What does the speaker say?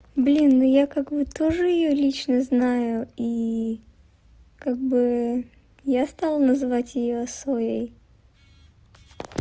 блин ну я как бы тоже её лично знаю и как бы я стала называть её своей